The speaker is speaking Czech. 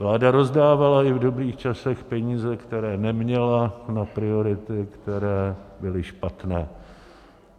Vláda rozdávala i v dobrých časech peníze, které neměla, na priority, které byly špatné.